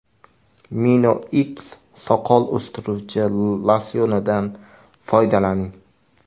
MinoX soqol o‘stiruvchi losyonidan foydalaning.